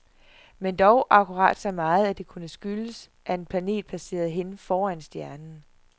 Men dog akkurat så meget, at det kunne skyldes, at en planet passerede hen foran stjernen.